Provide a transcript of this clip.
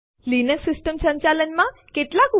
એક ફાઈલ રદ કરવા માટે આપણે લખ્યું આરએમ અને પછી ફાઈલનું નામ